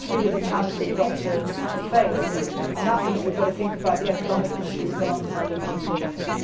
That is really the challenge we have to face and that means we have to think about the economic issues alongside the political ones.